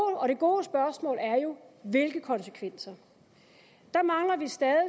det gode spørgsmål er jo hvilke konsekvenser der mangler vi stadig